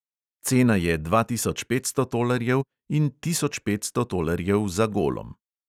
Cena je dva tisoč petsto tolarjev in tisoč petsto tolarjev za golom.